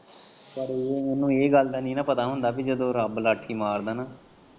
ਪਰ ਉਨੂੰ ਏਹ ਗੱਲ ਦਾ ਨਹੀ ਨਾ ਪਤਾ ਹੁੰਦਾ ਪੀ ਜਦੋਂ ਰੱਬ ਰਾਖੀ ਮਾਰਦਾ ਨਾ।